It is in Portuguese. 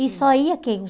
E só ia quem?